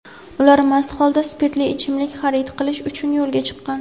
ular mast holda spirtli ichimlik xarid qilish uchun yo‘lga chiqqan.